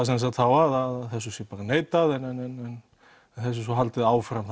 að þessu sé bara neitað en þessu sé svo haldið áfram